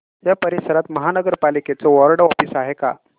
या परिसरात महानगर पालिकेचं वॉर्ड ऑफिस आहे का